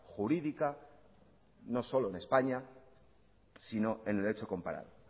jurídica no solo en españa sino en el hecho comparado